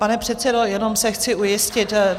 Pane předsedo, jenom se chci ujistit.